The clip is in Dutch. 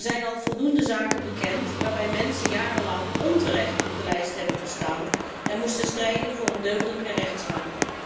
Er zijn al voldoende zaken bekend waarbij mensen jarenlang onterecht op de lijst hebben gestaan en moesten strijden voor een deugdelijke rechtsgang.